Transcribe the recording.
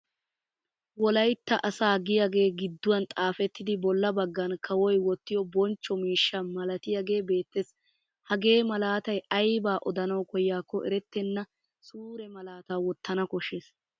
Wolaytta asaa giyagee gidduwan xaafettidi bolla baggan kawoy wottiyo bonchcho miishsha malatiyaagee beettes. Hagee malaatay aybaa odanawu koyyaakko erettenna suure malaataa wottana koshshes.